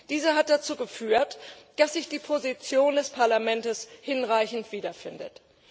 Diese hat dazu geführt, dass sich die Position des Parlaments hinreichend wiederfindet.